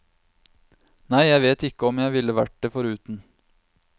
Nei, jeg vet ikke om jeg ville vært det foruten.